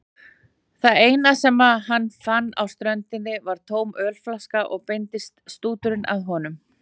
Það eina sem hann fann á ströndinni var tóm ölflaska og beindist stúturinn að honum.